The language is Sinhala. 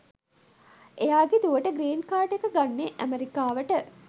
එයාගෙ දුවට ග්‍රීන් කාඩ් එක ගන්න ඇමෙරිකාවට